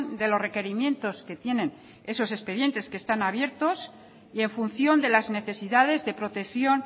de los requerimientos que tienen esos expedientes que están abiertos y en función de las necesidades de protección